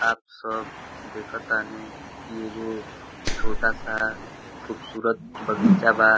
आप सब देखतानी की एगो छोटा सा खुबसूरत बगीचा बा।